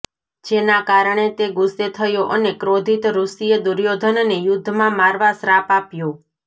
જેના કારણે તે ગુસ્સે થયો અને ક્રોધિત ઋષિએ દુર્યોધનને યુદ્ધમાં મારવા શ્રાપ આપ્યો